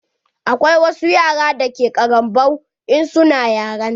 Akwai wasu yara da ke ƙaranbau in su na yaranta.